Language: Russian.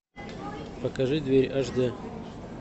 покажи дверь аш дэ